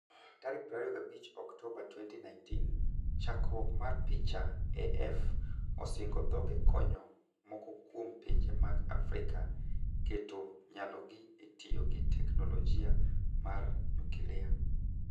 Tarik 25 Oktoba 2019 chakruok ma picha AF osingo dhoge konyo moko kuom pinje mag Afrika keto nyalogi e tiyo gi tecknolojia mar nyukilia.